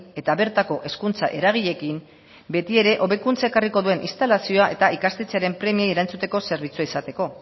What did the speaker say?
eta bertako hezkuntza eragileekin beti ere hobekuntza ekarriko duen instalazioa eta ikastetxearen premiei erantzuteko zerbitzua izateko